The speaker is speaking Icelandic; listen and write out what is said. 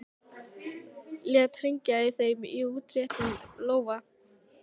Lét hringla í þeim í útréttum lófa.